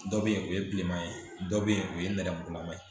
Dɔ bɛ yen o ye bilenman ye dɔ bɛ yen o ye nɛrɛmugulama ye